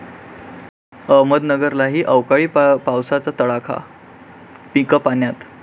अहमदनगरलाही अवकाळी पावसाचा तडाखा, पिकं पाण्यात!